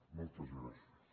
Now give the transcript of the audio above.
moltes gràcies